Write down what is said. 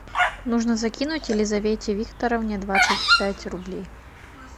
нужно закинуть елизавете викторовне двадцать пять рублей